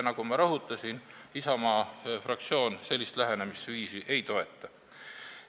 Nagu ma rõhutasin, Isamaa fraktsioon sellist lähenemisviisi ei toeta.